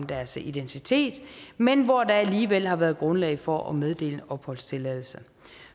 deres identitet men hvor der alligevel har været grundlag for at meddele opholdstilladelse